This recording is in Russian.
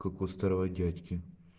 как у старого дядьки